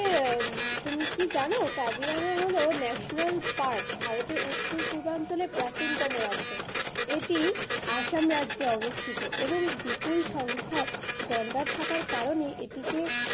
তুমি কি জানো কাজিরাঙা হলো national park ভারতের উত্তর পূর্বাঞ্চলে প্রাচীনতম রাজ্য। এটি অসাম রাজ্যে অবস্থিত এবং বিপুল সংখ্যক গন্ডার থাকার কারণে এটিকে,